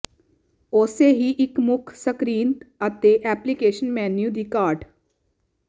ਉਸੇ ਹੀ ਇੱਕ ਮੁੱਖ ਸਕਰੀਨ ਅਤੇ ਐਪਲੀਕੇਸ਼ਨ ਮੇਨੂ ਦੀ ਘਾਟ